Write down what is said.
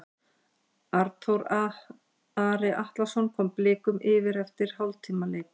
Arnþór Ari Atlason kom Blikum yfir eftir hálftíma leik.